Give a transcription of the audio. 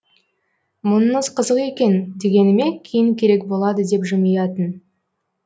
мұныңыз қызық екен дегеніме кейін керек болады деп жымиятын